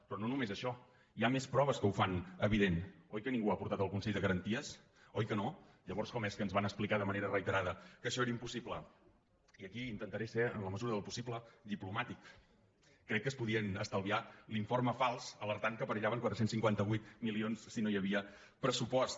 però no només això hi ha més proves que ho fan evi·dent oi que ningú ho ha portat al consell de garan·ties oi que no llavors com és que ens van explicar de manera reiterada que això era impossible i aquí intentaré ser en la mesura del possible diplomàtic crec que es podien estalviar l’informe fals alertant que perillaven quatre cents i cinquanta vuit milions si no hi havia pressupost